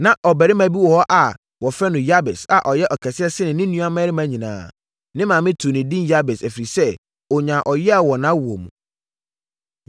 Na ɔbarima bi wɔ hɔ a wɔfrɛ no Yabes a ɔyɛɛ ɔkɛseɛ sene ne nuammarima nyinaa. Ne maame too no edin Yabes, ɛfiri sɛ, ɔnyaa ɔyea wɔ nʼawoɔ mu.